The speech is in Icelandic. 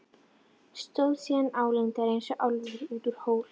Stóð síðan álengdar eins og álfur út úr hól.